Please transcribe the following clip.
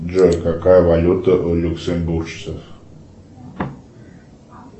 джой какая валюта у люксембуржцев